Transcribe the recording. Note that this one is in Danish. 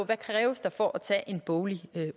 der kræves for at tage en boglig